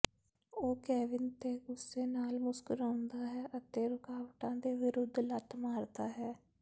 ਉਹ ਕੇਵਿਨ ਤੇ ਗੁੱਸੇ ਨਾਲ ਮੁਸਕਰਾਉਂਦਾ ਹੈ ਅਤੇ ਰੁਕਾਵਟਾਂ ਦੇ ਵਿਰੁੱਧ ਲੱਤ ਮਾਰਦਾ ਹੈ